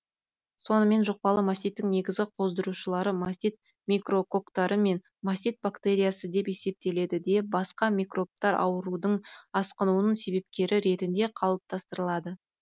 сонымен жұқпалы маститтің негізгі қоздырушылары мастит микрококтары мен мастит бактериясы деп есептеледі де басқа микробтар аурудың асқынуының себепкері ретінде қалыптастырылады